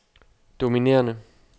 dominerende